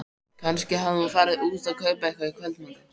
Kannski hafði hún farið út að kaupa eitthvað í kvöldmatinn.